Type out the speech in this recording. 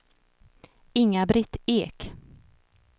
Inga-Britt Ek